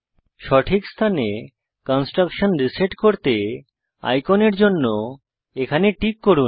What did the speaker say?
সঠিক স্থানে construction reset করতে আইকনের জন্য এখানে টিক করুন